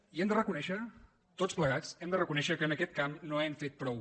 i hem de reconèixer tots plegats hem de reconèixer que en aquest camp no hem fet prou